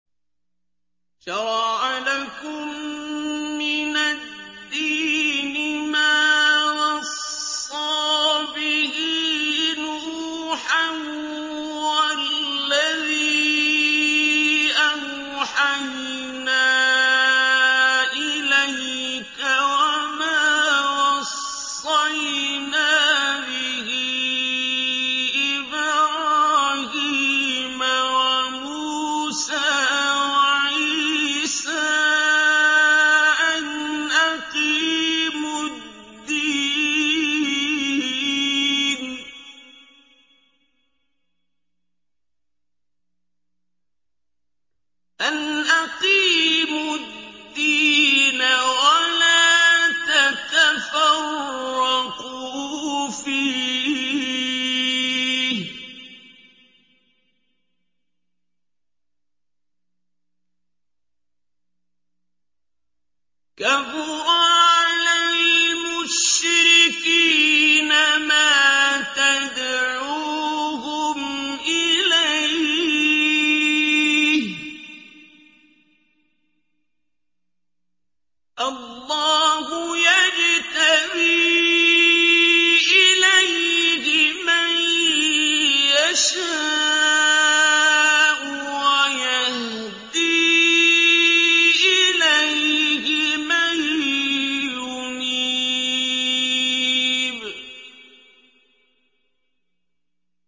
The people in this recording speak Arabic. ۞ شَرَعَ لَكُم مِّنَ الدِّينِ مَا وَصَّىٰ بِهِ نُوحًا وَالَّذِي أَوْحَيْنَا إِلَيْكَ وَمَا وَصَّيْنَا بِهِ إِبْرَاهِيمَ وَمُوسَىٰ وَعِيسَىٰ ۖ أَنْ أَقِيمُوا الدِّينَ وَلَا تَتَفَرَّقُوا فِيهِ ۚ كَبُرَ عَلَى الْمُشْرِكِينَ مَا تَدْعُوهُمْ إِلَيْهِ ۚ اللَّهُ يَجْتَبِي إِلَيْهِ مَن يَشَاءُ وَيَهْدِي إِلَيْهِ مَن يُنِيبُ